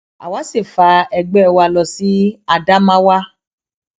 àwa sì fa ẹgbẹ wa lọ sí ádámáwà